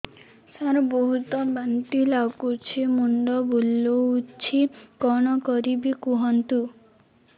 ସାର ବହୁତ ବାନ୍ତି ଲାଗୁଛି ମୁଣ୍ଡ ବୁଲୋଉଛି କଣ କରିବି କୁହନ୍ତୁ